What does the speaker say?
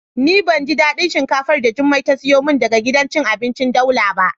Ni ban ji dadin shinkafar da jummai ta siyo min daga gidan cin abinci daula ba.